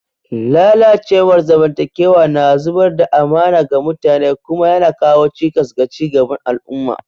Lalacewar zamantakewa na zubar da amana ga mutane kuma yana kawo cikas ga ci gaban al'umma.